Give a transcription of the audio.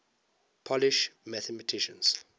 polish mathematicians